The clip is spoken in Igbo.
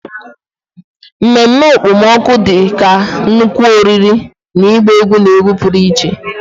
Ememme okpomọkụ dị ka nnukwu oriri na ịgba egwu na egwu pụrụ iche.